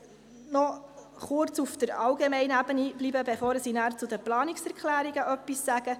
Ich möchte noch kurz auf der allgemeinen Ebene bleiben, bevor ich nachher etwas zu den Planungserklärungen sage.